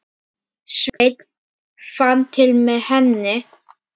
Sveinn fann til með henni.